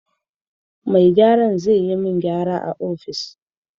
Mai gyara zai yi min gyaran a ofis.